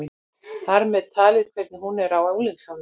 Þar með talið hvernig hún er á unglingsárunum.